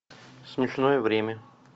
смешное время